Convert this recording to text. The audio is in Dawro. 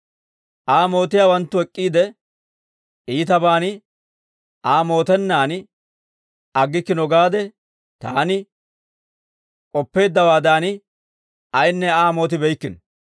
Aa mootiyaawanttu ek'k'iide, iitabaan Aa mootennaan aggikkino gaade taani k'oppeeddawaadan, ayinne Aa mootibeykkino.